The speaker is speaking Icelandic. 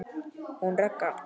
Hún Ragga?